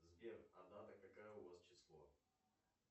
сбер а дата какая у вас число